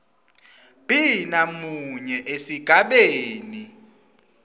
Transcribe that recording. b namunye esigabeni